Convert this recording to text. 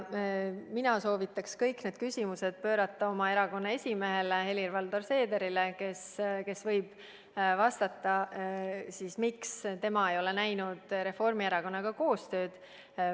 Mina soovitan teil kõik need küsimused esitada oma erakonna esimehele Helir-Valdor Seederile, kes võib vastata, miks tema ei ole näinud Reformierakonnaga koostööd.